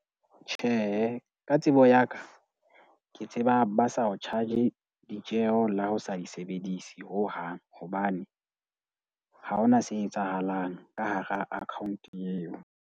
Tjhe, ka tsebo ya ka ke tseba ba sa o charge ditjeo le ha o sa di sebedise hohang hobane ha hona se etsahalang ka hara account eo.